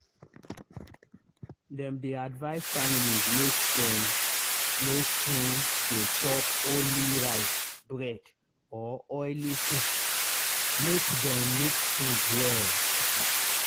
dem dey advise families make dem no too dey chop only rice bread or oily soup—make dem mix food well.